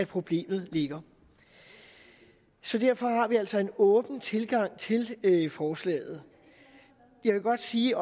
problemet ligger derfor har vi altså en åben tilgang til forslaget jeg vil godt sige